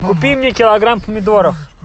купи мне килограмм помидоров